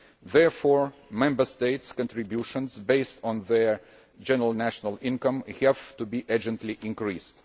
Therefore, Member States' contributions, based on their general national income, have to be urgently increased.